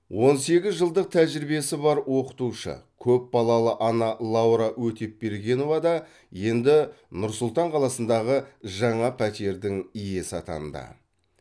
он сегіз жылдық тәжірибесі бар оқытушы көпбалалы ана лаура өтепбергенова да енді нұр сұлтан қаласындағы жаңа пәтердің иесі атанды